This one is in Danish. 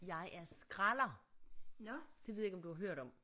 Jeg er skralder det ved jeg ikke om du har hørt om